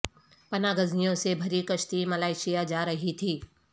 پناہ گزینوں سے بھری کشتی ملائیشیا جا رہی تھی